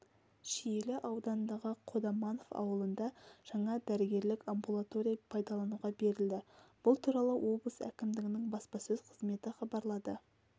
шиелі ауданындағы қодаманов ауылында жаңа дәрігерлік амбулатория пайдалануға берілді бұл туралы облыс әкімдігінің баспасөз қызметі хабарлады